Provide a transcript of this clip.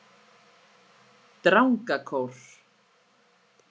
Drangakór